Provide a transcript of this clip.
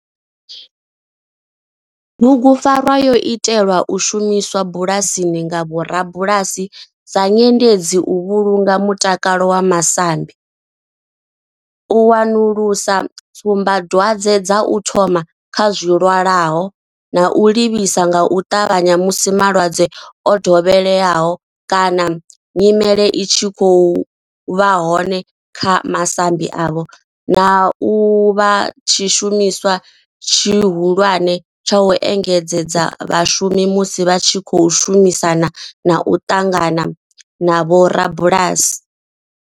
Bugupfarwa yo itelwa u shumiswa bulasini nga vhorabulasi sa nyendedzi u vhulunga mutakalo wa masambi, u wanulusa tsumbadwadzwe dza u thoma kha zwilwalaho na u livhisa nga u ṱavhanya musi malwadze o dovheleaho kana nyimele i tshi vha hone kha masambi avho, na u vha tshishumiswa tshihulwane tsha u engedzedza vhashumi musi vha tshi khou shumisana na u ṱangana na vhorabulasi.